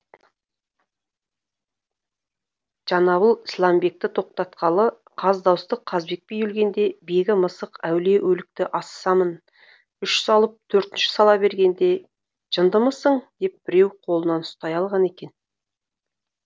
жанабіл сламбекті тоқтатқалы қаз дауысты қазыбек би өлгенде бегі мысық әулие өлікті асысамын үш салып төртінші сала бергенде жындымысың деп біреу қолын ұстай алған екен